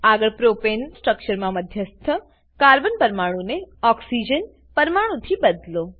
આગળ પ્રોપેન સ્ટ્રક્ચરમા મધ્યસ્થ કાર્બન પરમાણુને ઓક્સીજન ઓક્સીજન પરમાણુ થી બદલો